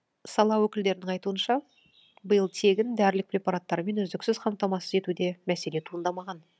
сала өкілдерінің айтуынша биыл тегін дәрілік препараттармен үздіксіз қамтамасыз етуде мәселе туындамаған